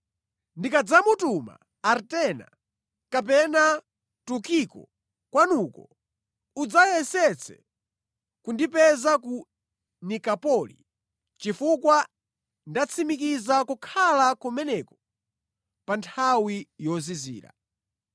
Ndikadzamutuma Artema kapena Tukiko kwanuko, udzayesetse kundipeza ku Nikapoli, chifukwa ndatsimikiza kukhala kumeneko pa nthawi yozizira.